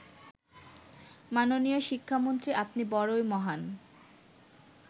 মাননীয় শিক্ষামন্ত্রী আপনি বড়ই মহান